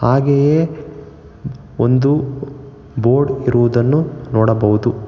ಹಾಗೆಯೇ ಒಂದು ಬೋರ್ಡ್ ಇರುವುದನ್ನು ನೋಡಬಹುದು.